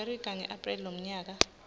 america ngaapreli lomnyaka